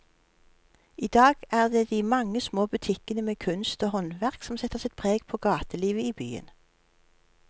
I dag er det de mange små butikkene med kunst og håndverk som setter sitt preg på gatelivet i byen.